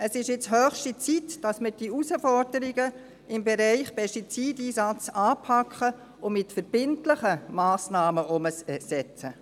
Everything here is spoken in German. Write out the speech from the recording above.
Es ist jetzt höchste Zeit, dass wir die Herausforderungen im Bereich Pestizideinsatz anpacken und mit verbindlichen Massnahmen umsetzen.